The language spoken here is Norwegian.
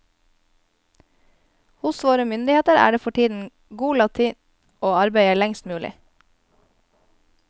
Hos våre myndigheter er det for tiden god latin å arbeide lengst mulig.